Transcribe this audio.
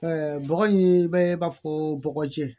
bɔgɔ in bɛ b'a fɔ bɔgɔjɛ